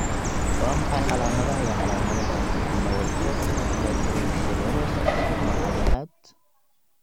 Waa maxay calaamadaha iyo calaamadaha Amyotrophic lateral sclerosis nooca lixaad?